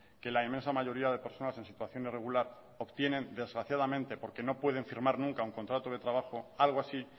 que la inmensa mayoría de personas en situación irregular obtienen desgraciadamente porque no pueden firmar nunca un contrato de trabajo algo así